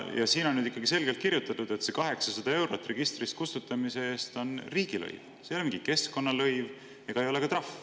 Ja siin on selgelt kirjutatud, et see 800 eurot registrist kustutamise eest on riigilõiv, see ei ole mingi keskkonnalõiv ega ole ka trahv.